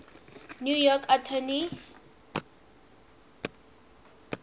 new york attorney